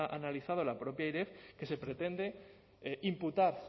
ha analizado la propia airef que se pretende imputar